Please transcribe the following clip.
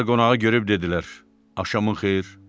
Onlar qonağı görüb dedilər: "Axşamın xeyir".